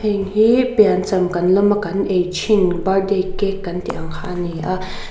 heng hi piancham kan lawm a kan ei thin birthday cake kan tih kha a ni a.